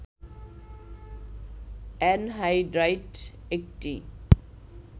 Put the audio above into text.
anhydride একটি